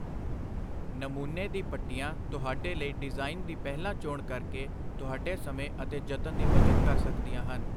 ਨਮੂਨੇ ਦੀ ਪੱਟੀਆਂ ਤੁਹਾਡੇ ਲਈ ਡਿਜ਼ਾਈਨ ਦੀ ਪਹਿਲਾਂ ਚੋਣ ਕਰਕੇ ਤੁਹਾਡੇ ਸਮੇਂ ਅਤੇ ਜਤਨ ਦੀ ਬੱਚਤ ਕਰ ਸਕਦੀਆਂ ਹਨ।